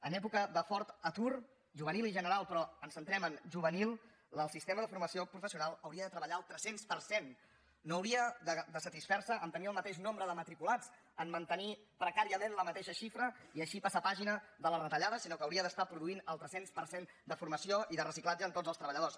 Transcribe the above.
en època de fort atur juvenil i general però ens centrem en juvenil el sistema de formació professional hauria de treballar al tres cents per cent no hauria de satisfer se a tenir el mateix nombre de matriculats a mantenir precàriament la mateixa xifra i així passar pàgina de les retallades sinó que hauria d’estar produint el tres cents per cent de formació i de reciclatge en tots els treballadors